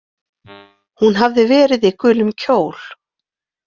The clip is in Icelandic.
Hún hafði verið í gulum kjól.